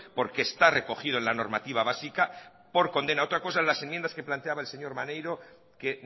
porque está recogido en la normativa básica por condena otra cosa en las enmiendas que planteaba el señor maneiro que